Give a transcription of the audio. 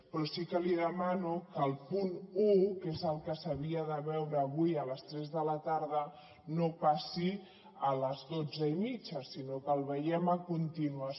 però sí que li demano que el punt un que és el que s’havia de veure avui a les tres de la tarda no passi a les dotze i mitja sinó que el veiem a continuació